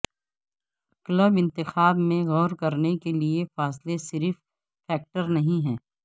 club انتخاب میں غور کرنے کے لئے فاصلہ صرف فیکٹر نہیں ہے